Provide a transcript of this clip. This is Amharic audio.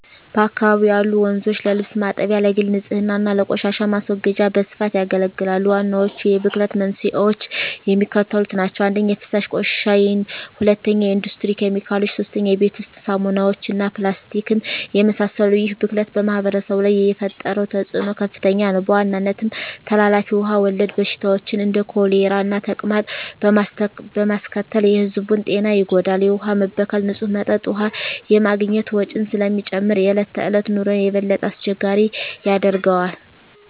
በአካባቢው ያሉ ወንዞች ለልብስ ማጠቢያ፣ ለግል ንፅህና እና ለቆሻሻ ማስወገጃ በስፋት ያገለግላሉ። ዋናዎቹ የብክለት መንስኤዎች የሚከተሉት ናቸው - 1) የፍሳሽ ቆሻሻ 2) የኢንዱስትሪ ኬሚካሎች 3) የቤት ውስጥ ሳሙናዎች እና ፕላስቲክን የመሰሉ ይህ ብክለት በማኅበረሰቡ ላይ የፈጠረው ተፅዕኖ ከፍተኛ ነው፤ በዋናነትም ተላላፊ ውሃ ወለድ በሽታዎችን (እንደ ኮሌራና ተቅማጥ) በማስከተል የሕዝቡን ጤና ይጎዳል። የውሃ መበከል ንፁህ መጠጥ ውሃ የማግኘት ወጪን ስለሚጨምር የዕለት ተዕለት ኑሮን የበለጠ አስቸጋሪ ያደርገዋል።